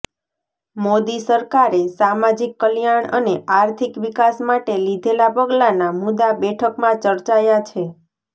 મોદી સરકારે સામાજિક કલ્યાણ અને આર્થિક વિકાસ માટે લીધેલા પગલાના મુદ્દા બેઠકમાં ચર્ચાયા છે